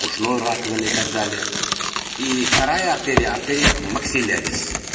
ушной раковины так далее и вторая артерия артерия максилярис